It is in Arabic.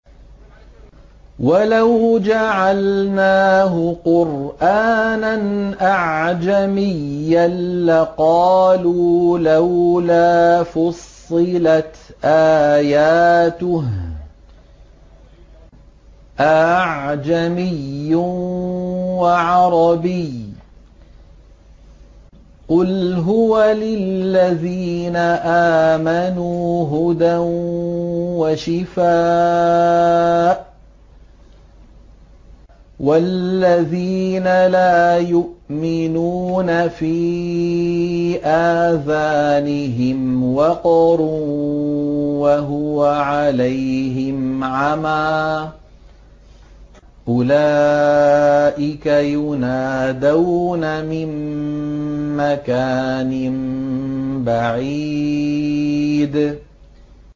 وَلَوْ جَعَلْنَاهُ قُرْآنًا أَعْجَمِيًّا لَّقَالُوا لَوْلَا فُصِّلَتْ آيَاتُهُ ۖ أَأَعْجَمِيٌّ وَعَرَبِيٌّ ۗ قُلْ هُوَ لِلَّذِينَ آمَنُوا هُدًى وَشِفَاءٌ ۖ وَالَّذِينَ لَا يُؤْمِنُونَ فِي آذَانِهِمْ وَقْرٌ وَهُوَ عَلَيْهِمْ عَمًى ۚ أُولَٰئِكَ يُنَادَوْنَ مِن مَّكَانٍ بَعِيدٍ